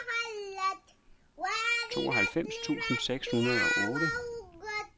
tooghalvfems tusind seks hundrede og otte